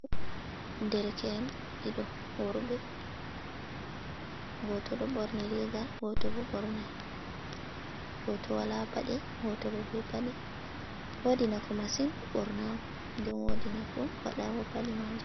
Ɗerke’en ɗiɗo worbe, goto ɗo borni riga goto bo bornai, goto wala paɗe goto bo ɓe paɗe, wodi nafu masin bornago den wodi nafu paɗago paɗe majum.